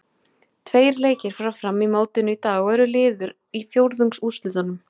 Tveir leikir fara fram í mótinu í dag og eru liður í fjórðungsúrslitunum.